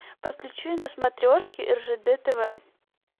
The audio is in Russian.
подключи на смотрешке ржд тв